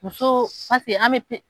Muso an bɛ